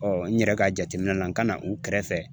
n yɛrɛ ka jateminɛ na n ka na u kɛrɛfɛ.